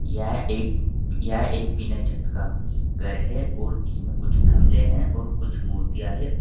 यह एक यह एक बिना छत का घर है और इसमें कुछ थमले हैं और कुछ मूर्तियां है।